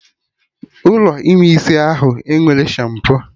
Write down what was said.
Ụlọ ime isi ahụ enwerọ shampo